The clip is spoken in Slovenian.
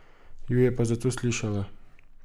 Ju je pa zato slišala.